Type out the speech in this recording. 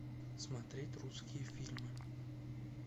смотреть русские фильмы